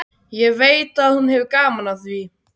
Ég veit að hún hefur gaman af því.